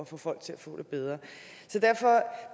få folk til at få det bedre